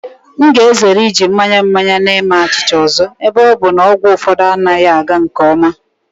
M ga-ezere iji mmanya mmanya na-eme achịcha ọzọ ebe ọ bụ na ọgwụ ụfọdụ anaghị aga nke ọma.